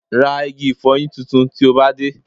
Ra igi ìfọyín tuntun tí o bá dé